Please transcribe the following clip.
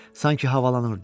Sanki havalanırdı.